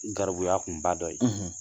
Garibuya kunba dɔ ye